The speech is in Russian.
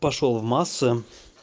пошёл в массы